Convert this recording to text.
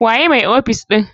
Waye mai ofis ɗin?